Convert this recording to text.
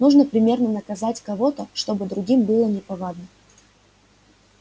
нужно примерно наказать кого-то чтобы другим было неповадно